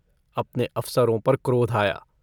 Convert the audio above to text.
अपने अफसरों पर क्रोध आया।